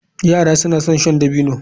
Yara suna son shan dabino.